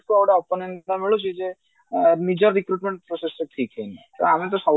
ଯେ ଏ ନିଜ recruitment process ଟା ଠିକ ହଉନି ତ